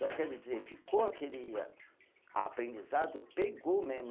Então, quer dizer, ficou aquele aprendizado, pegou mesmo.